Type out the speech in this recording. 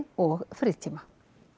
og frítíma